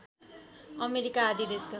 America आदि देशको